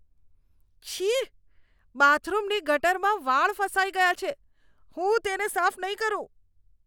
છી! બાથરૂમની ગટરમાં વાળ ફસાઈ ગયા છે. હું તેને સાફ નહીં કરું.